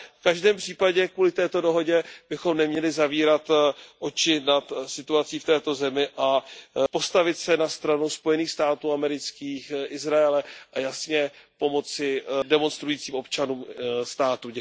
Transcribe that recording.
V každém případě kvůli této dohodě bychom neměli zavírat oči nad situací v této zemi a postavit se na stranu Spojených států amerických, Izraele a jasně pomoci demonstrujícím občanům státu.